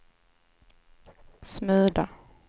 smula